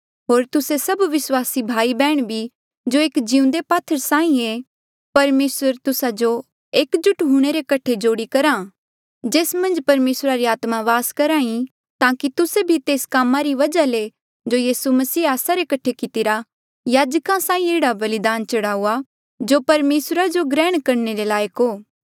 होर तुस्से सभ विस्वासी भाई बैहण भी जो एक जिउंदे पात्थरा साहीं ऐें परमेसर एकजुट हूंणे रे कठे जोड़ी करहा जेस मन्झ परमेसरा री आत्मा वास करही ताकि तुस्से भी तेस कामा री वजहा ले जो यीसू मसीहे आस्सा रे कठे कितिरा याजका साहीं एह्ड़ा बलिदान चढ़ाऊआ जो परमेसरा जो ग्रहण करणे रे लायक हो